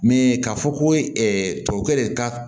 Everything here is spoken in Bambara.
Min ye k'a fɔ ko tubabukɛ de ka